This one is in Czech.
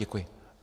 Děkuji.